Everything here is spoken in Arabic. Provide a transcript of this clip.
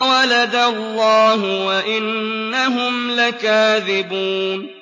وَلَدَ اللَّهُ وَإِنَّهُمْ لَكَاذِبُونَ